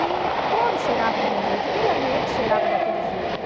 E todos cheiravam do mesmo jeito, aquele ambiente cheirava daquele jeito.